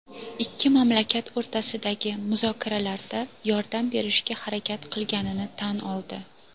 ikki mamlakat o‘rtasidagi muzokaralarda yordam berishga harakat qilganini tan oldi.